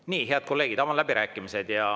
Nii, head kolleegid, avan läbirääkimised.